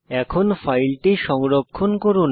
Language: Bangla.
এখন ফাইলটি সংরক্ষণ করুন